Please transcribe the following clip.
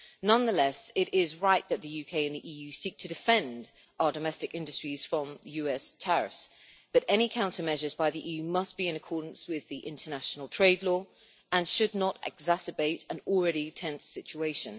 Nonetheless, it is right that the UK and the EU seek to defend our domestic industries from US tariffs, but any countermeasures by the EU must be in accordance with international trade law and should not exacerbate an already tense situation.